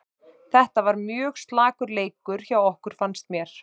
Þetta var bara mjög slakur leikur hjá okkur fannst mér.